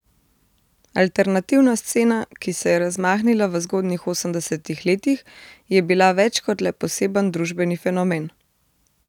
Alternativna scena, ki se je razmahnila v zgodnjih osemdesetih letih, je bila več kot le poseben družbeni fenomen.